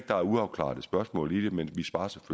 der er uafklarede spørgsmål i det men